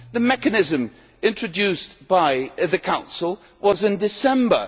The mechanism introduced by the Council was in December.